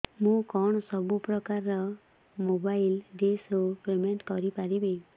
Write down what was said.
ମୁ କଣ ସବୁ ପ୍ରକାର ର ମୋବାଇଲ୍ ଡିସ୍ ର ପେମେଣ୍ଟ କରି ପାରିବି